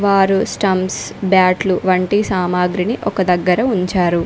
వారు స్టంప్స్ బాట్లు వంటి సామాగ్రిని ఒక దగ్గర ఉంచారు.